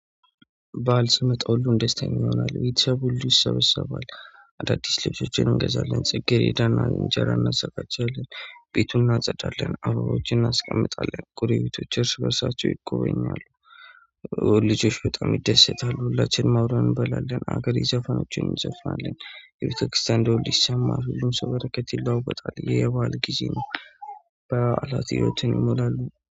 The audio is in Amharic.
ባዓል ስመጣው ሁሉን ደስታ ይሆናል ቤተሰብ ሁሉ ይሰበሰባል። አዳዲስ ልጆችን እንገዛለን ጽጌሬዳና እንጀራ እናዘጋጃለን ቤቱን እናጸዳለን አበቦችን እናስቀምጣለን ጎረቤቶች እርስ በርሳቸው ይጎበኛሉ። ልጆች በጣም ይደሰታሉ ሁላችንም አብረን እንበላለን አገራዊ ዘፋኖችን የቤተክርስቲያን ደውል ይሰማል ሁሉም ሰው በረከት ይለዋወጣል ያ የበአል ጊዜ ነው። በአዓላት ህይወትን ይሞላሉ